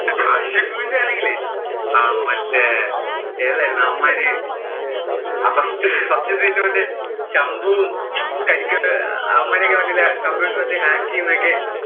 ആ ഷിബൂന്‍റെ ആണെങ്കിലേ അഹ് മറ്റേ ഏതായിരുന്നു? അവന്മാര് ആ first scene മറ്റേ ശംബുവും കരിക്ക് ഒക്കെ അവന്മാര് മറ്റേ computer വച്ച് hack ചെയ്യുന്നതൊക്കെ.